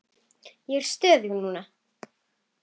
Ég er stöðug núna.